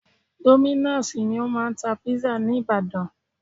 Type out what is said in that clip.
Dominos ni o máà ń tá pizza ní ìbàdàn.